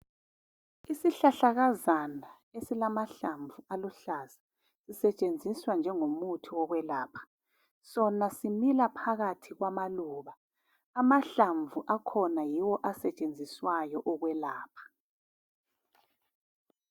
Isihlahlakazana esilamahlamvu aluhlaza sisetshenziswa njengomuthi wokwelapha sona simila phakathi kwamaluba amahlamvu akhona yiwo asetshenziswayo ukwelapha.